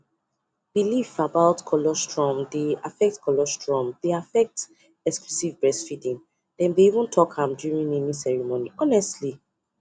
believe about collesium dey affect collesium exclusively breastfeeding and dem even talk am during naming ceremony